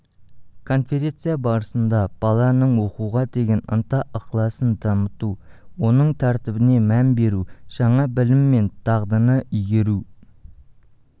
конференция барысында баланың оқуға деген ынта-ықыласын дамыту оның тәртібіне мән беру жаңа білім мен дағдыны игеру